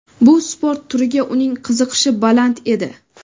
Bu sport turiga uning qiziqishi baland edi.